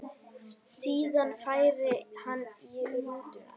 Síðan færi hann í rútuna.